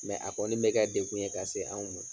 a kɔni be kɛ dekun ye k'a se anw ma.